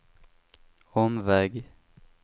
omväg